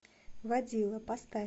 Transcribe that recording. водила поставь